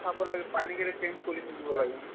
চাব লাগে পানী কেইটা change কৰি থাকিব লাগে